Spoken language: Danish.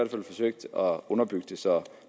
fald forsøgt at underbygge det så